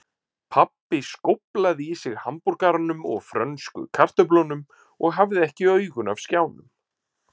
Pabbi skóflaði í sig hamborgaranum og frönsku kartöflunum og hafði ekki augun af skjánum.